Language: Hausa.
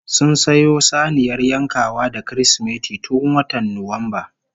Sun sayo saniyar yankawa da Kirsimeti tun watan Nuwamba